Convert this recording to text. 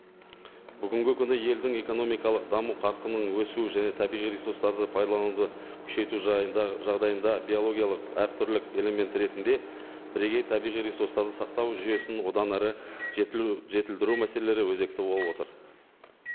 бүгінгі күні елдің экономикалық даму қарқынның өсуі және табиғи ресурстарды пайдалануды күшейту жағдайында биологиялық әртүрлі элемент ретінде бірегей табиғи ресурстарын сақтау жүйесін одан әрі жетілдіру мәселелері өзекті болып отыр